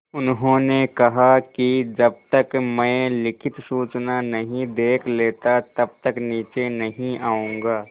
उन्होंने कहा कि जब तक मैं लिखित सूचना नहीं देख लेता तब तक नीचे नहीं आऊँगा